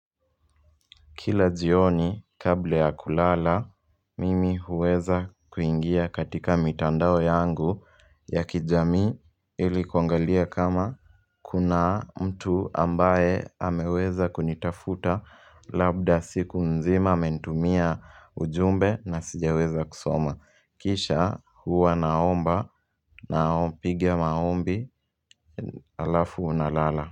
Kila jioni kabla ya kulala mimi huweza kuingia katika mitandao yangu ya kijamii ili kuangalia kama kuna mtu ambaye ameweza kunitafuta labda siku nzima amenitumia ujumbe na sijaweza kusoma kisha huwa naomba na piga maombi alafu nalala.